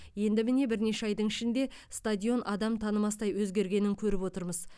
енді міне бірнеше айдың ішінде стадион адам танымастай өзгергенін көріп отырмыз